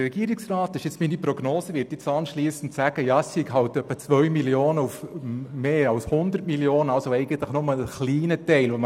Der Regierungsrat wird nach meiner Prognose anschliessend dazu sagen, man würde nur einen kleinen Teil von 2 Mio. Franken auf insgesamt 100 Mio. Franken streichen.